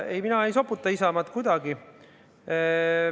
Ei, mina ei soputa Isamaad kuidagi.